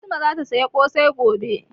Fatima zata saya ƙosai gobe